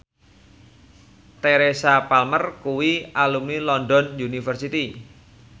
Teresa Palmer kuwi alumni London University